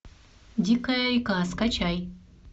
дикая река скачай